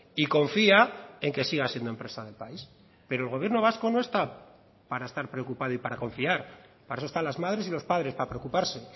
y confía en que siga siendo empresa del país pero el gobierno vasco no está para estar preocupado y para confiar para eso están las madres y los padres para preocuparse